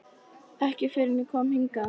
Ekki fyrr en ég kom hingað.